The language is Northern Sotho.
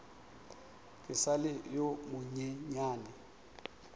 ke sa le yo monyenyane